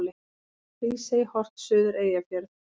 Hrísey, horft suður Eyjafjörð.